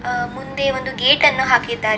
ಆಹ್ಹ್ ಮುಂದೆ ಒಂದು ಗೇಟ್ ಅನ್ನು ಹಾಕಿದ್ದಾರೆ --